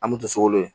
An me to sokolon ye